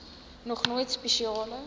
nog nooit spesiale